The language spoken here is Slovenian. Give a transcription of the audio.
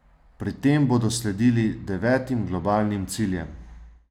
Pri tem bodo sledili devetim globalnim ciljem.